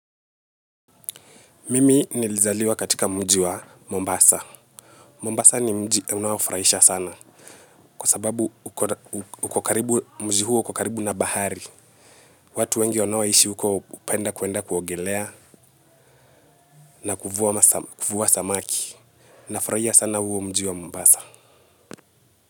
Mimi nilizaliwa katika mji wa Mombasa. Mombasa ni mji unaofurahisha sana. Kwa sababu uko karibu mji huo uko karibu na bahari. Watu wengi wanaoishi huko hupenda kuwenda kuongelea na kuvua samaki. Nafurahia sana huo mji wa Mombasa.